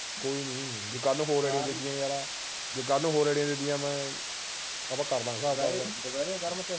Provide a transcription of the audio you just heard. ਕੋਈ ਨੀ ਜੇ ਕੱਲ ਹੋਰ ਆਈਡੀਆਂ ਦਿਤੀਆਂ ਯਾਰਾ ਜੇ ਕੱਲ ਹੋਰ ਆਈਡੀਆਂ ਦਿਤੀਆਂ ਮੈਂ ਆਪਾਂ ਕਰ ਦਵਾਂਗੇ